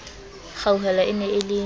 kgauhelo e ne e le